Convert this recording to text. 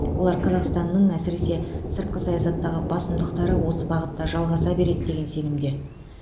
олар қазақстанның әсіресе сыртқы саясаттағы басымдықтары осы бағытта жалғаса береді деген сенімде